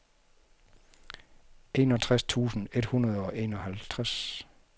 enogtres tusind et hundrede og enoghalvtreds